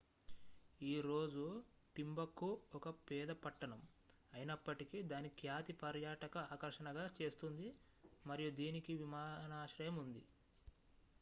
ఈ రోజు టింబక్టు ఒక పేద పట్టణం అయినప్పటికీ దాని ఖ్యాతి పర్యాటక ఆకర్షణగా చేస్తుంది మరియు దీనికి విమానాశ్రయం ఉంది